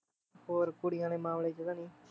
ਹੋਰ ਕੁੜੀਆਂ ਦੇ ਮਾਮਲੇ ਚ ਤਾਂ ਨੀ